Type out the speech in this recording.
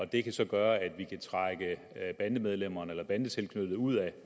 det kan så gøre at vi kan trække bandemedlemmerne eller bandetilknyttede ud af